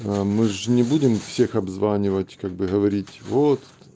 мы ж не будем всех обзванивать как бы говорить вот